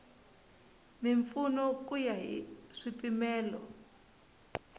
mimpfuno ku ya hi swipimelo